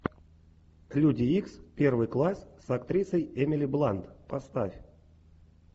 люди икс первый класс с актрисой эмили блант поставь